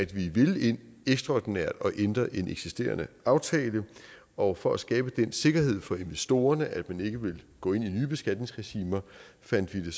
vi ville ind ekstraordinært og ændre en eksisterende aftale og for at skabe den sikkerhed for investorerne at man ikke ville gå ind i nye beskatningsregimer fandt vi det